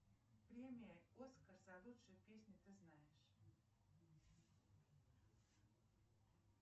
премия оскар за лучшую песню ты знаешь